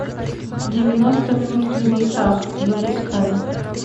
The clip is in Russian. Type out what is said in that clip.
девяносто минут в небесах запускай